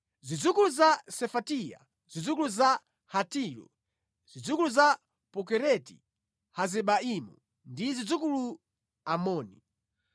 zidzukulu za Sefatiya, zidzukulu za Hatilu zidzukulu za Pokereti-Hazebaimu ndi zidzukulu Amoni.